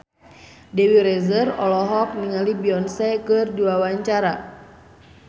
Dewi Rezer olohok ningali Beyonce keur diwawancara